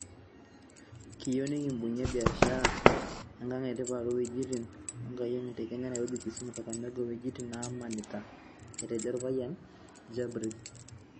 "Kiyeu nikibungia biasharani e ang' e tipat o wejitin enkiyengiyeng' te Kenya Nairobi, Kisumu, Kakamega o wejitin naamanita," Etejo Olpayian Jibril.